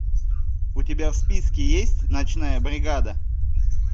у тебя в списке есть ночная бригада